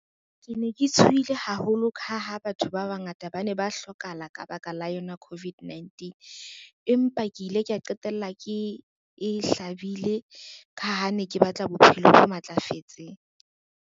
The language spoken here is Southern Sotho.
Ke ne ke tshohile haholo ka ha batho ba bangata ba ne ba hlokahala ka baka la yona COVID-19, empa ke ile kea qetella ke e hlabile ka ha ne ke batla bophelo bo matlafetseng.